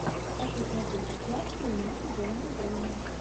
хочу смотреть сейчас фильмас жанра драма